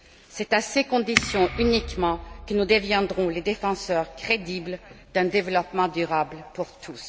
C'est à ces conditions uniquement que nous deviendrons les défenseurs crédibles d'un développement durable pour tous.